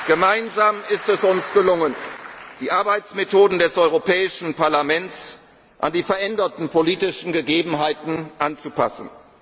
danken. Gemeinsam ist es uns gelungen, die Arbeitsmethoden des Europäischen Parlaments an die veränderten politischen Gegebenheiten anzupassen.